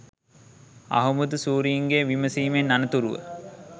අහුබුදු සූරීන්ගේ විමසීමෙන් අනතුරුව